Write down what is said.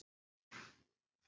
Hjá þér?